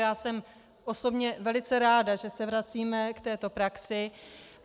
Já jsem osobně velice ráda, že se vracíme k této praxi.